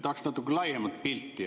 Tahaks natuke laiemat pilti.